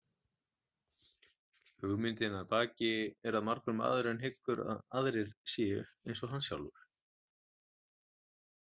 Hugmyndin að baki er að margur maðurinn hyggur að aðrir séu eins og hann sjálfur.